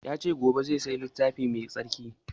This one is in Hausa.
Ya ce gobe saya littafi mai tsarki